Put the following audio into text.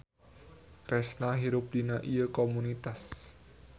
Kresna hirup dina ieu komunitas.